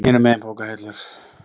Hinum megin bókahillur.